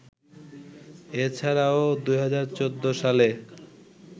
এ ছাড়াও ২০১৪ সালে